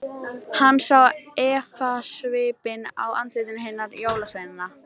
Hann sá efasvipinn á andlitum hinna jólasveinana.